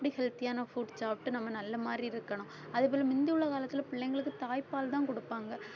அப்படி healthy யான food சாப்பிட்டு நம்ம நல்ல மாதிரி இருக்கணும். அதே போல முந்தி உள்ள காலத்துல பிள்ளைங்களுக்கு தாய்ப்பால்தான் குடுப்பாங்க